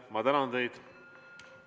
Ma tänan teid!